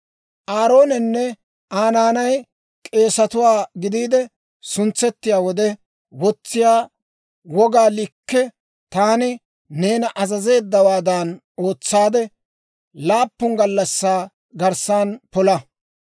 «Aaroonenne Aa naanay k'eesatuwaa gidiide suntsettiyaa wode wotsiyaa wogaa likke taani neena azazeeddawaadan ootsaadde, laappun gallassaa garssan pola.